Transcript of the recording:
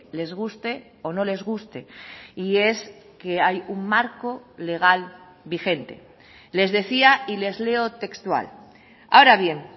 les guste o no les guste y es que hay un marco legal vigente les decía y les leo textual ahora bien